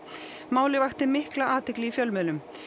málið vakti mikla athygli í fjölmiðlum